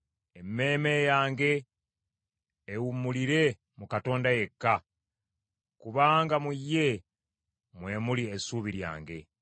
Emmeeme yange ewummulire mu Katonda yekka; kubanga mu ye mwe muli essuubi lyange.